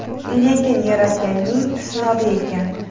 Lekin Yaratganning sinovi ekan.